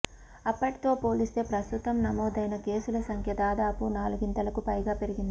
అప్పటితో పోలిస్తే ప్రస్తుతం నమోదైన కేసుల సంఖ్య దాదాపు నాలుగింతలకు పైగా పెరిగింది